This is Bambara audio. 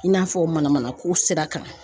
I n'a fɔ mana manako sira kan.